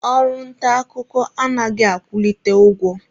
Ọrụ nta akụkọ anaghị akwụlite ụgwọ.